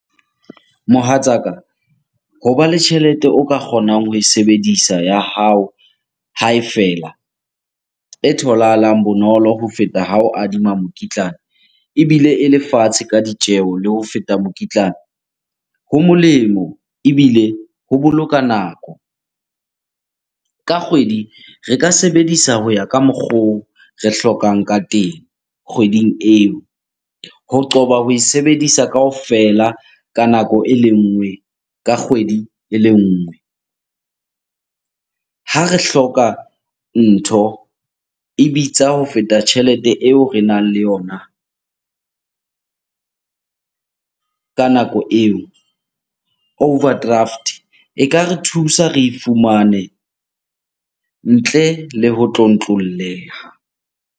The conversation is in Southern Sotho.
Mohatsaka, hoba le tjhelete o ka kgonang ho e sebedisa ya hao ha e fela. E tholahalang bonolo ho feta ha o adima mokitlane ebile ele fatshe ka ditjeho le ho feta mokitlana. Ho molemo ebile ho boloka nako. Ka kgwedi re ka sebedisa ho ya ka mokgwa oo re hlokang ka teng kgweding eo. Ho qoba ho e sebedisa kaofela ka nako ele nngwe ka kgwedi ele nngwe. Ha re hloka ntho, e bitsa ho feta tjhelete eo re nang le yona ka nako eo overdraft, e ka re thusa re e fumane ntle le ho tlontlolleha.